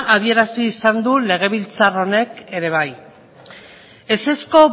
adierazi izan du legebiltzar honek ere bai ezezko